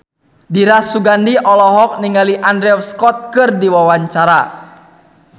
Dira Sugandi olohok ningali Andrew Scott keur diwawancara